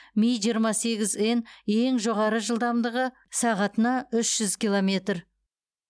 ми жиырма сегіз н ең жоғары жылдамдығы сағатына үш жүз километр